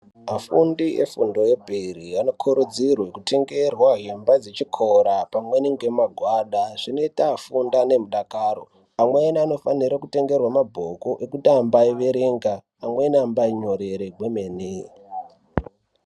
Vafundi efundo yepiri anokurudzirwe kutengerwe hembe dzechikora pamweni ngemagwada. Zvinoita afunde ngemudakaro. Amweni anofanire kutengerwe mabhuku ekuti ambaierenga, amweni ambainyorere kwemene.